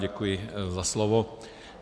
Děkuji za slovo.